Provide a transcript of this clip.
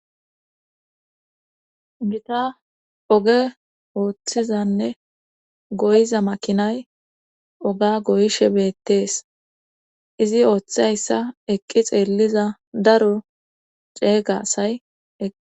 Gita oge ooththezanne goyiza makinay oga goyishe beettees izi ooththayssa eqqi xeelliza daro ceeygasay eqi.